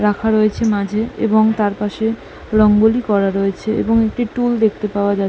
রাখা রয়েছে মাঝে এবং তার পাশে রঙ্গোলি করা রয়েছে এবং একটি টুল দেখতে পাওয়া যা--